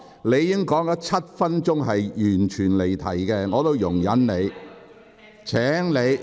你已經發言7分鐘，但一直離題，只是我在容忍你而已。